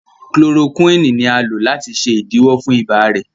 Chloroquine ní a lò láti ṣe idiwọ fún ibà rẹ.